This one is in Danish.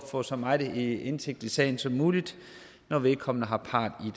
at få så meget indsigt i sagen som muligt når vedkommende har part i